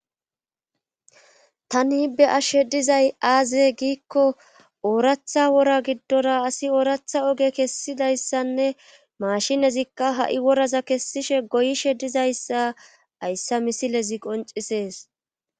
Tani be7ashe dizay aaze giikko wora giddora asi ooratha oge kessididayssanne maashinezikka ha7i woraza kessishe goyishe dizayssa hayssa misilezi qonccisees.